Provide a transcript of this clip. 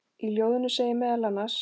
Í ljóðinu segir meðal annars